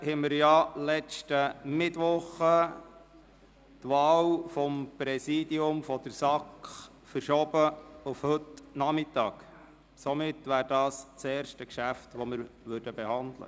Als Erstes werden wir die Wahl des SAK-Präsidiums behandeln, die wir letzten Mittwoch auf heute Nachmittag verschoben haben.